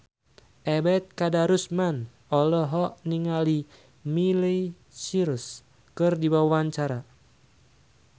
Ebet Kadarusman olohok ningali Miley Cyrus keur diwawancara